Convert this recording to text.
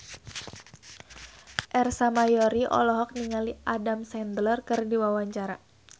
Ersa Mayori olohok ningali Adam Sandler keur diwawancara